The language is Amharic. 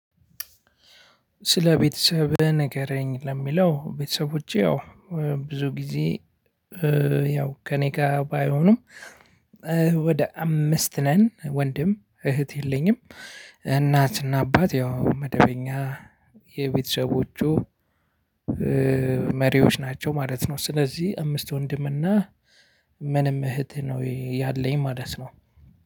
ስለ ቤተሰብህ ንገረኝ? ለሚለው ቤተሰቦቸ ያው ብዙ ጊዜ ያው ከእኔ ጋር ባይሆኑም ወደ አምስት ነን። ወንድም እህት የለኝም። እናትና አባት ያው መደበኛ የቤተሰቦቹ መሪዎች ናቸው ማለት ነው። ስለዚህ አምስት ወንድም እና ምንም እህት ነው ያለኝ ማለት ነው።